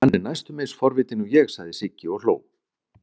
Hann er næstum eins forvitinn og ég, sagði Sigga og hló.